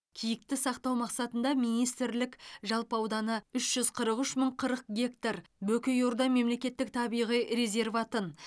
киікті сақтау мақсатында министрлік жалпы ауданы үш жүз қырық үш мың қырық гектар бөкейорда мемлекеттік табиғи резерватын